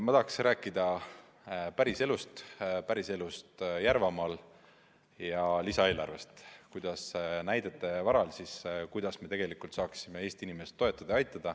Ma tahaksin rääkida päris elust Järvamaal ja lisaeelarvest –näidete varal, kuidas me saaksime Eesti inimest toetada, aidata.